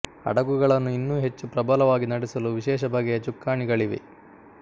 ಹಡಗುಗಳನ್ನು ಇನ್ನೂ ಹೆಚ್ಚು ಪ್ರಬಲವಾಗಿ ನಡೆಸಲು ವಿಶೇಷ ಬಗೆಯ ಚುಕ್ಕಾಣಿಗಳಿವೆ